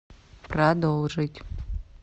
продолжить